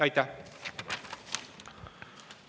Aitäh!